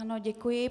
Ano, děkuji.